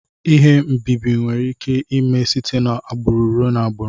Ihe mbibi nwere ike ime site na agburu ruee na agburu.